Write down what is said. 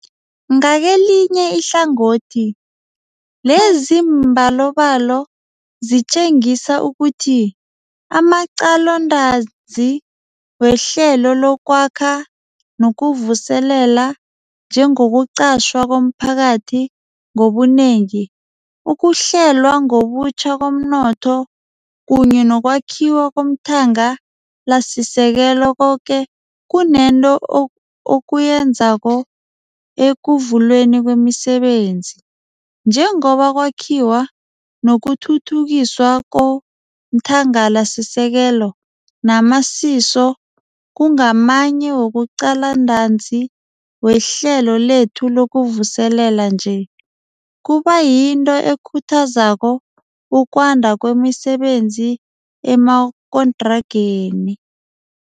Ngakelinye ihlangothi, leziimbalobalo zitjengisa ukuthi amaqalontanzi weHlelo lokwAkha nokuVuselela, njengokuqatjhwa komphakathi ngobunengi, ukuhlelwa ngobutjha komnotho kunye nokwakhiwa komthanga lasisekelo, koke kunento okuyenzako ekuvulweni kwemisebenzi. Njengoba ukwakhiwa nokuthuthukiswa komthangalasisekelo namasiso kungamanye wamaqalontanzi wehlelo lethu lokuvuselela nje, kuba yinto ekhuthazako ukwanda kwemisebenzi emagontrageni.